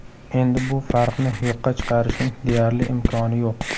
Endi bu farqni yo‘qqa chiqarishning deyarli imkoni yo‘q.